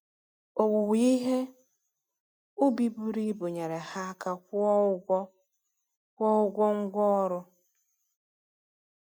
Owuwe ihe ubi buru ibu nyere ha aka kwụọ ụgwọ kwụọ ụgwọ ngwá ọrụ.